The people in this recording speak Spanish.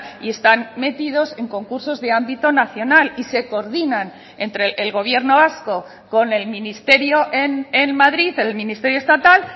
y están metidos en concursos de ámbito nacional y se coordinan entre el gobierno vasco con el ministerio en madrid el ministerio estatal